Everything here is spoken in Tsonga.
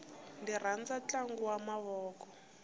ndzi rhandza ntlangu wa mavoko